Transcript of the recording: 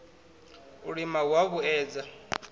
u lima hu a vhuedza